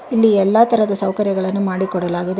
ಇಲ್ಲಿ ಎಲ್ಲಾ ತರದ ಸೌಕರ್ಯಗಳನ್ನು ಮಾಡಿಕೊಡಲಾಗಿದೆ.